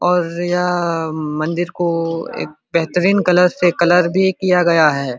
और यहां मंदिर को एक बेहतरीन कलर से कलर भी किया गया है।